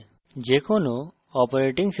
এই file যে কোনো স্থানে রান করতে পারে